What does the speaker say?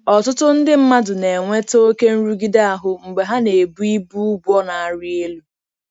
Ọtụtụ ndị mmadụ na-enweta oke nrụgide ahụ mgbe ha na-ebu ibu ụgwọ na-arị elu.